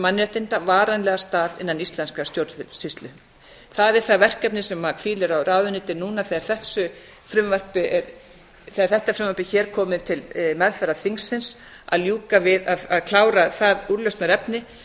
mannréttinda varanlegan stað innan íslenskrar stjórnsýslu þar er það verkefni sem hvílir á ráðuneytinu núna þegar þetta frumvarp hér er komið til meðferðar þingsins að ljúka við að klára það úrlausnarefni þannig